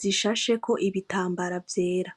zisasheko ibitambara vyera